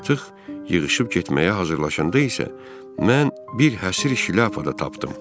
Artıq yığışıb getməyə hazırlaşanda isə mən bir həsir şlyapa da tapdım.